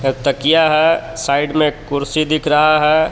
त-तकिया है साइड में कुर्सी दिख रहा है.